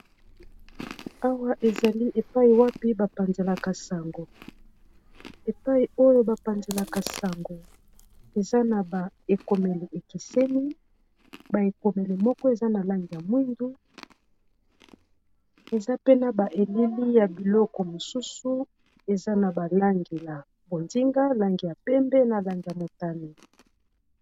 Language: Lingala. Awa ezali epai wapi ba panzanaka sango epai oyo ba panzelaka sango eza na ba ekomeli ekeseni bae komeli moko eza na langi ya mwindu eza pe na ba elili ya biloko mosusu eza na ba langi ya bonzinga langi ya pembe na langi ya motane.